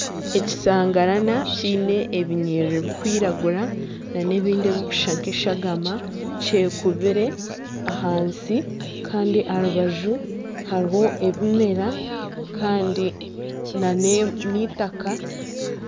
Ekishangarana kiine ebinyerere birikwiragura n'ebindi ebirikusha nk'eshagama kyekubire ahansi Kandi aha rubaju hariho ebimera Kandi n'eitaka.